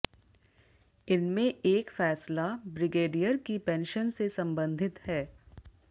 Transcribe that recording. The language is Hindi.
इनमें एक फैसला ब्रिगेडियर की पेंशन से संबंधित है